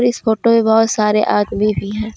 इस फोटो में बहोत सारे आदमी भी है।